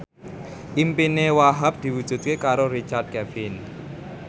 impine Wahhab diwujudke karo Richard Kevin